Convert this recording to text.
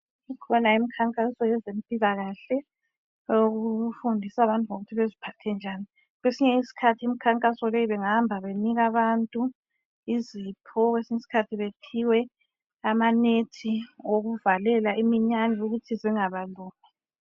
Ikhona imikhankaso yezempilakahle. Owokufundisa abantu ngokuthi baziphathe njani. Kwesinye isikhathi, imikhankaso le, bengahamba benika abantu izipho. Kwesinye usikhathi baphiwe amanet, okuvalela imiyane, ukuthi zingabalumi.